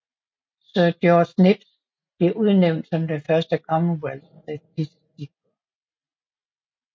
Sir George Knibbs blev udnævnt som den første Commonwealth statistiker